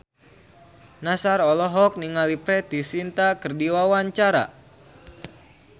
Nassar olohok ningali Preity Zinta keur diwawancara